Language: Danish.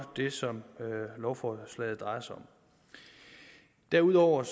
det som lovforslaget drejer sig om derudover